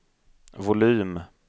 volym